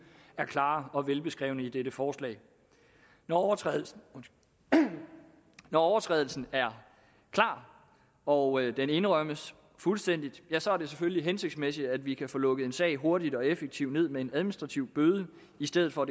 er klare og velbeskrevne i dette forslag når overtrædelsen når overtrædelsen er klar og den indrømmes fuldstændig så er det selvfølgelig hensigtsmæssigt at vi kan få lukket en sag hurtigt og effektivt ned med en administrativ bøde i stedet for